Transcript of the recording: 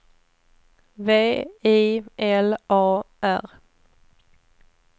V I L A R